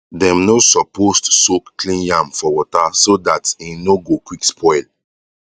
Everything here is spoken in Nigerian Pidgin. dem no supposed soak clean yam for water so that e no no go quick spoil